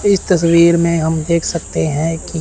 इस तस्वीर में हम देख सकते हैं कि--